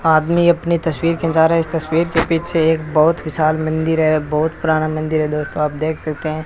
आदमी अपनी तसवीर खींचा रहा है इस तसवीर के पीछे एक बहुत विशाल मंदिर है बहुत पुराना मंदिर है दोस्तो आप देख सकते हैं।